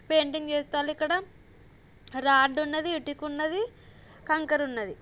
Painting చేస్తున్నారు ఇక్కడ rod ఉన్నది ఇటుక ఉన్నది కంకర ఉన్నది.